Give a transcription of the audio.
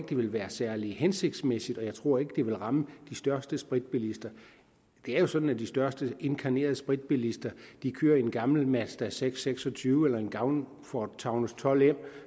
det ville være særlig hensigtsmæssigt og jeg tror ikke at det ville ramme de største spritbilister det er jo sådan at de største inkarnerede spritbilister kører i en gammel mazda seks seks og tyve eller en gammel ford taunus 12m